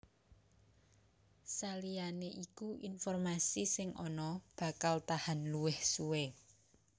Saliyané iku informasi sing ana bakal tahan luwih suwé